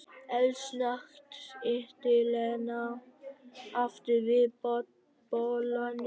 Eldsnöggt ýtti Lena aftur við bollanum.